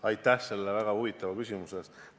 Aitäh selle väga huvitava küsimuse eest!